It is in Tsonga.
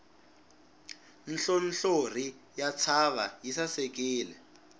nhlonhlori ya ntshava yi sasekile